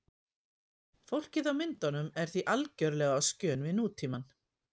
Fólkið á myndunum er því algerlega á skjön við nútímann.